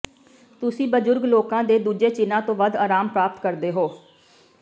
ਤੁਸੀਂ ਬਜ਼ੁਰਗ ਲੋਕਾਂ ਦੇ ਦੂਜੇ ਚਿੰਨ੍ਹਾਂ ਤੋਂ ਵੱਧ ਆਰਾਮ ਪ੍ਰਾਪਤ ਕਰਦੇ ਹੋ